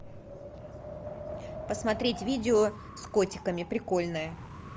посмотреть видео с котиками прикольное